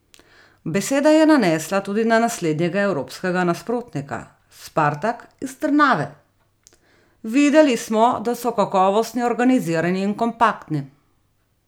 Beseda je nanesla tudi na naslednjega evropskega nasprotnika, Spartak iz Trnave: "Videli smo, da so kakovostni, organizirani in kompaktni.